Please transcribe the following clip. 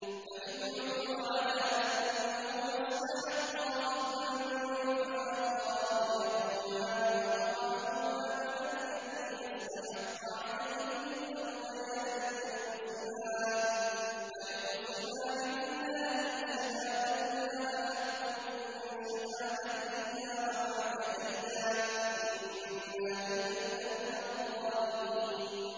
فَإِنْ عُثِرَ عَلَىٰ أَنَّهُمَا اسْتَحَقَّا إِثْمًا فَآخَرَانِ يَقُومَانِ مَقَامَهُمَا مِنَ الَّذِينَ اسْتَحَقَّ عَلَيْهِمُ الْأَوْلَيَانِ فَيُقْسِمَانِ بِاللَّهِ لَشَهَادَتُنَا أَحَقُّ مِن شَهَادَتِهِمَا وَمَا اعْتَدَيْنَا إِنَّا إِذًا لَّمِنَ الظَّالِمِينَ